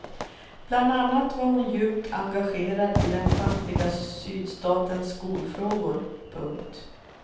Bland annat var hon djupt engagerad i den fattiga sydstatens skolfrågor. punkt